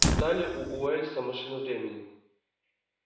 читали у уэллса машину времени